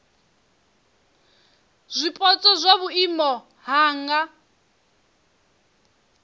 zwipotso zwa vhuimo ha nha